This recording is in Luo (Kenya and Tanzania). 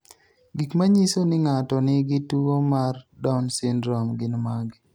Gik manyiso ni ng'ato nigi tuwo mar Down syndrome gin mage?